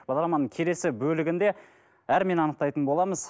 бағдарламаның келесі бөлігінде анықтайтын боламыз